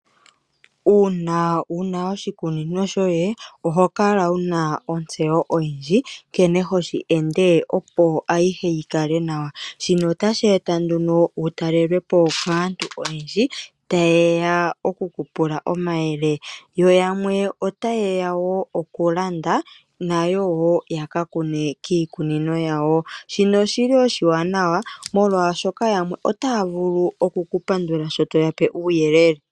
Uuna wuna oshikunino shoye ohokala wuna otsewo oyindji nkene hoshi ende opo ayihe yikale nawa, shino otashi eta nduno wutalelwepo kaantu oyendji tayeya okukupula omayele yo yamwe otayeya wo okulanda nayo wo yakakune kikunino yawo, shino oshili oshanawa molwashoka yamwe otavulu okuku pandula sho toyape uyelele.